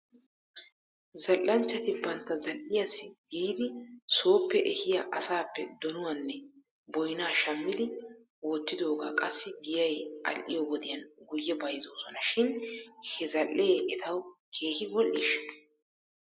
Zal'anchchati bantta zal'iyaassi giidi sooppe ehiyaa asaappe donuwaanne boynaa shammidi wottidoogaa qassi giyay al'iyoo wodiyan guyye bayzzoosona shin he zal'ee etaw keehi wodhdhiishsha?